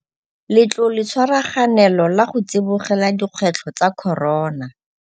Letloletshwaraganelo la go Tsibogela Dikgwetlho tsa Corona